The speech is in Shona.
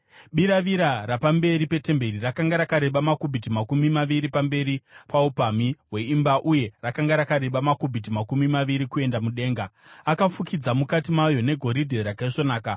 Biravira rapamberi petemberi rakanga rakareba makubhiti makumi maviri pamberi paupamhi hweimba uye rakanga rakareba makubhiti makumi maviri kuenda mudenga. Akafukidza mukati mayo negoridhe rakaisvonaka.